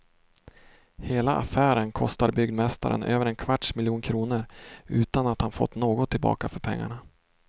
Hela affären kostar byggmästaren över en kvarts miljon kronor, utan att han fått något tillbaka för pengarna.